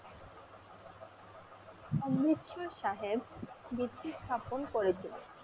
অমৃতসর সাহেব বৃত্তি স্থাপন করেছিলেন।